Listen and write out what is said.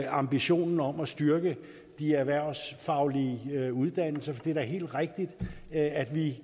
ambitionen om at styrke de erhvervsfaglige uddannelser for det er da helt rigtigt at vi